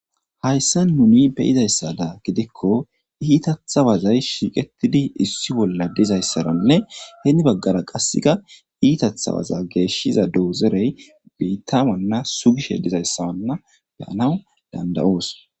hayssa nuni beyizayssada gidikko iitatha wazay shiiqetidi issi bolla dizayssaranne heeni baggara qasseka iitathawaza geeshshiza doozerey biittawanna sugishe dizayssawanna beyanaw dandayoos